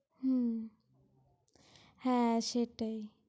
হুহ, হ্যাঁ সেটাই।